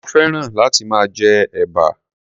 mo féràn láti máa jẹ ẹ̀bà.